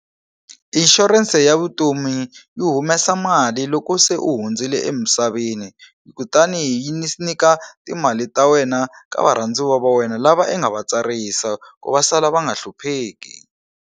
I inshurense ya vutomi yi humesa mali loko se u hundzile emisaveni kutani yi yi nyika timali ta wena ka varhandziwa va wena lava i nga va tsarisa ku va sala va nga hlupheki.